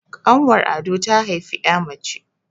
ƙanwar ado ta haifi ya mace